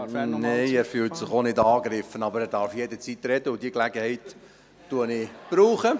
Nein, er fühlt sich auch nicht angegriffen, aber er darf jederzeit sprechen, und diese Gelegenheit nehme ich wahr.